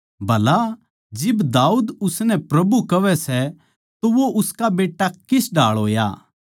भला जिब दाऊद उसनै प्रभु कहवै सै तो वो उसका बेट्टा किस ढाळ होया